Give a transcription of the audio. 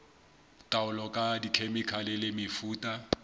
taolo ka dikhemikhale le mefuta